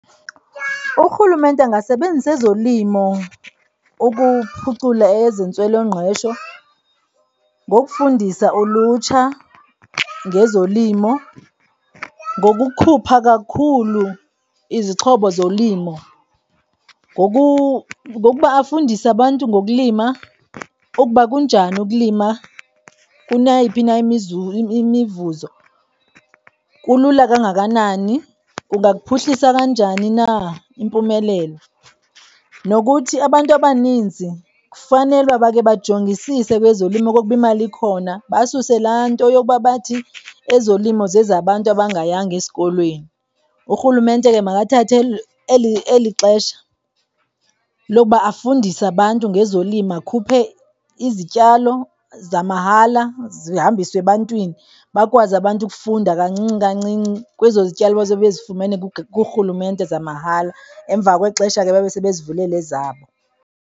Urhulumente angasebenzisa ezolimo ukuphucula ezentswelongqesho ngokufundisa ulutsha ngezolimo, ngokukhupha kakhulu izixhobo zolimo, ngokuba afundise abantu ngokulima ukuba kunjani ukulima kuneyiphi na imivuzo. Kulula kangakanani, kungakuphuhlisa kanjani na impumelelo. Nokuthi abantu abaninzi kufanele uba bakhe bajongisise kwezolimo okokuba imali ikhona. Basuse laa nto yokuba bathi ezolimo zezabantu abangayanga esikolweni. Urhulumente ke makathathe eli xesha lokuba afundise abantu ngezolimo, akhuphe izityalo zamahala, zihambiswe ebantwini, bakwazi abantu ukufunda kancinci, kancinci kwezo zityalo bazobe bezifumene kurhulumente zamahala. Emva kwexesha ke babe sebezivulela ezabo.